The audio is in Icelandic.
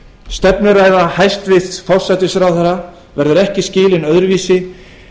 stefnuræða hæstvirts forsætisráðherra verður ekki skilin öðruvísi